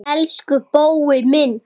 Elsku Bói minn.